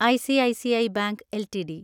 ICICI bank LTD